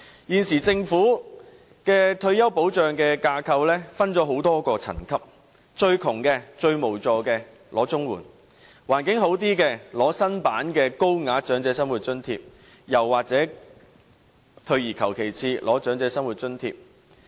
現時，政府的退休保障架構，分成多個層級，最窮、最無助的長者可領取綜援；經濟環境稍佳的長者，便可領取新版的高額長者生活津貼，或退而求其次領取長者生活津貼。